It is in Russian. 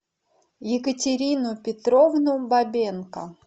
екатерину петровну бабенко